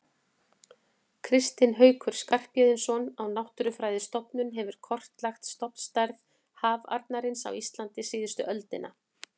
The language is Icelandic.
Kristinn Haukur Skarphéðinsson á Náttúrufræðistofnun hefur kortlagt stofnstærð hafarnarins á Íslandi síðustu öldina.